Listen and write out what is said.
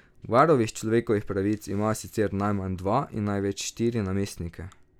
Varuh človekovih pravic ima sicer najmanj dva in največ štiri namestnike.